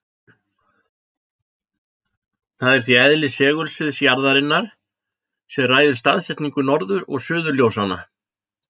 Það er því eðli segulsviðs jarðarinnar sem ræður staðsetningu norður- og suðurljósanna.